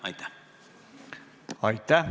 Aitäh!